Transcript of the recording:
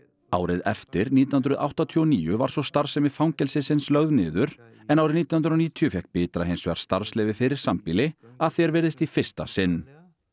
árið eftir nítján hundruð áttatíu og níu var svo starfsemi fangelsisins lögð niður en árið nítján hundruð og níutíu fékk Bitra hins vegar starfsleyfi fyrir sambýli að því er virðist í fyrsta sinn